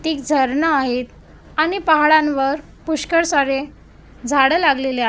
तिक झारणा आहे आणि पहाडांवर पुष्कर सारे झाड लागलेले आहेत.